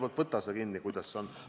Nii et võta sa kinni, kuidas sellega on.